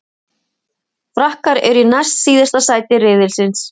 Frakkar eru í næst síðasta sæti riðilsins.